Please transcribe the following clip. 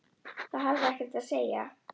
Það hafði ekkert að segja.